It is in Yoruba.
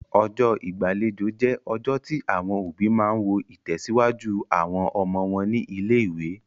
Ọjọ́ ìgbàlejò jẹ́ ọjọ́ tí àwọn òbí máa ń wo ìtẹ̀síwájú àwọn ọmọ wọn ní ilé-ìwé.